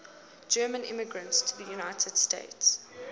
german immigrants to the united states